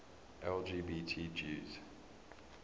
lgbt jews